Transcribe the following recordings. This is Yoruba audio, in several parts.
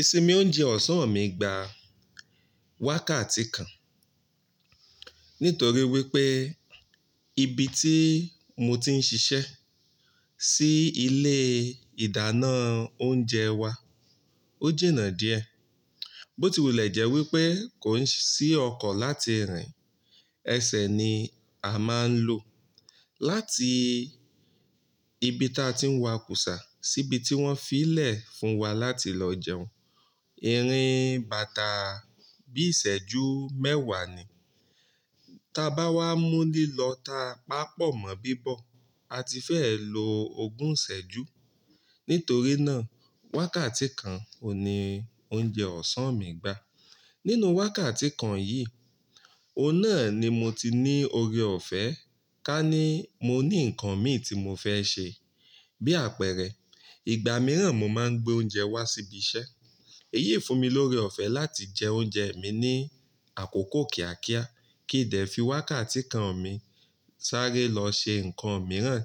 Ìsinmi oúnjẹ ọ̀sán mi gba wákàtí kan. Nítorí wípé ibi tí mo ti ń ṣiṣẹ́ sí ilé ìdáná oúnjẹ wa, ó jìnà díẹ̀. Bótìwùlẹ̀ jẹ́ wípé kò sí ọkọ̀ láti rìn. Ẹsẹ̀ ni a máa ń lò láti ibi ta ń ti ń wa kùsà sí ibi tí wón fi í lẹ̀ fún wa láti lọ jẹun. Ìrìn bàtà bí ìṣẹ́jú mẹ́wàá ni. Ta bá wá mú lìlọ ta pápọ̀ mọ bíbọ̀, a ti fẹ́ lo ogún ìṣẹ́jú. Nítorí náà, wákàtí kan òun ni oúnjẹ ọ̀sán mi gbà. Nínú wákàtí kan yìí, o náà ni mo ti ní oore ọ̀fẹ́ ká ní mo ní ǹkan mi tí mo fẹ́ ṣe. Bí àpẹẹrẹ, ìgbà mìíràn mo máa ń gbé oúnjẹ wá síbi iṣẹ́. Èyí fún mi lóre ọ̀fẹ́ láti jẹ oúnjẹ mi ní àkókò kíákíá kí dẹ̀ fi wákàtí kan mi sáré lọ ṣe ǹkan mìíràn.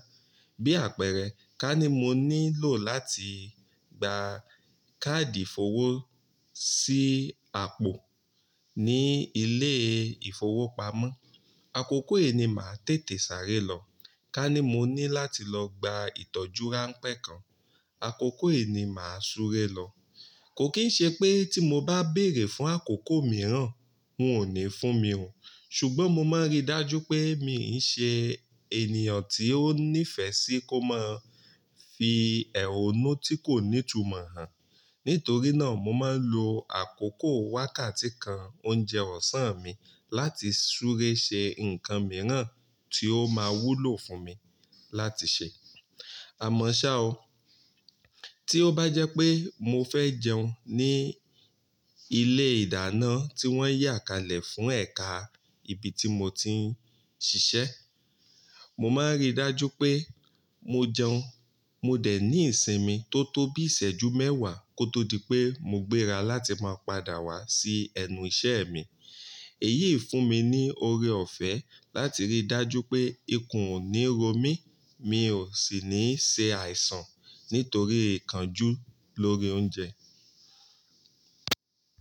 Bí àpẹẹrẹ, ká ní mo nílò láti gba káàdì ìfowó sí àpò ní ilé ìfowópamọ́. Àkókò yìí ni màá tètè sáré lọ. Ká ní mo ní láti lọ gba ìtọ́jú ránpẹ́ kan. Àkókò yìí ni màá súré lọ. Kò kìí ṣe pé tí mo bá béèrè fún àkókò mìíràn, wọn ò ní fún mi o. Ṣùgbọ́n mo máa rí dájú pé, mi e ṣe ènìyàn tí ó nífẹ̀ẹ́ sí kó máa fi ẹ̀ró nú tí kò ní tumọ̀ hàn. Nítorí náà, mo máa ń lo àkókò wákàtí kan oúnjẹ ọ̀sán mi láti súré ṣe ǹkan mìíràn tí ó máa wúlò fún mi láti ṣe. Àmọ́ ṣá o, tí ó bá jẹ́ pé mo fẹ́ jẹun ní ilé ìdáná tí wón yà kalẹ̀ fún ẹ̀ka ibi tí mo ti ń ṣiṣẹ́, mo máa rí dájú pé mo jẹun. Mo dẹ̀ ní ìsinmi tó tó bí ìṣẹ́jú mẹ́wàá kó tó di pé mo gbéra láti máa padà wá sí ẹnu iṣẹ́ mi. Èyí fún mi ní oore ọ̀fẹ́ láti rí dájú pé ikùn ò ní ro mí, mi ò sì ní ṣe àìsàn nítorí ìkánjú lórí oúnjẹ.